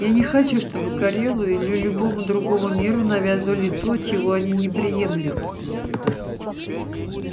я не хочу чтобы корелу или любому другому миру навязывали то чего они не приемлют